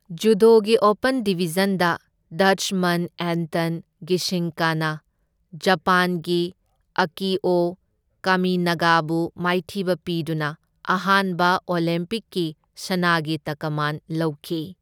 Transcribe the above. ꯖꯨꯗꯣꯒꯤ open ꯗꯤꯕꯤꯖꯟꯗ Dutchman Anton ꯒꯤꯁꯤꯡꯀꯅ ꯖꯄꯥꯟꯒꯤ ꯑꯀꯤꯑꯣ ꯀꯥꯃꯤꯅꯥꯒꯥꯕꯨ ꯃꯥꯏꯊꯤꯕ ꯄꯤꯗꯨꯅ ꯑꯍꯥꯟꯕ ꯑꯣꯂꯦꯝꯄꯤꯛꯀꯤ ꯁꯅꯥꯒꯤ ꯇꯛꯀꯃꯥꯟ ꯂꯧꯈꯤ꯫